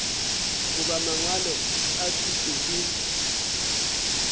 goba mangwalo a thuto le